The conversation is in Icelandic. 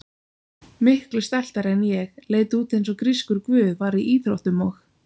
Miklu stæltari en ég, leit út eins og grískur guð, var í íþróttum og.